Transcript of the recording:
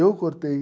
Eu cortei.